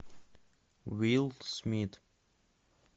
уилл смит